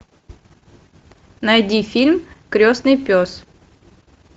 найди фильм крестный пес